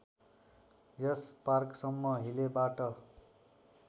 यस पार्कसम्म हिलेबाट